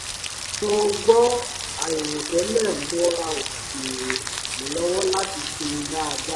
mo gbọ́ àìrò tẹ́lẹ̀ mọ́ra ó sì ràn mí lọ́wọ́ láti sinmi dáadáa